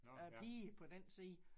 Æ piger på den side